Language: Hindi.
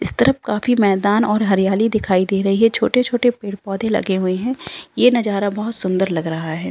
इस तरफ काफी मैदान और हरियाली दिखाई दे रही है छोटे-छोटे पेड़-पौधे लगे हुए हैं ये नजारा बहुत सुन्दर लग रहा है।